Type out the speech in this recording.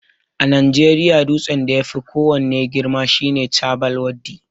A najeriya dutsen da yafi ko wanne girma shine Chabbal Waddi